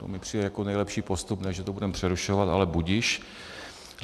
To mi přijde jako nejlepší postup, ne, že to budeme přerušovat, ale budiž.